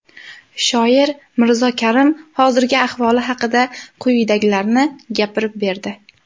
Shoir Mirzo Karim hozirgi ahvoli haqida quyidagilarni gapirib berdi.